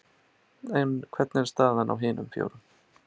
En hvernig er staðan á hinum fjórum?